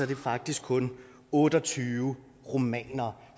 det faktisk kun otte og tyve rumænere